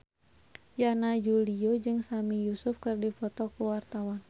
Yana Julio jeung Sami Yusuf keur dipoto ku wartawan